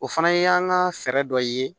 O fana y'an ka fɛɛrɛ dɔ ye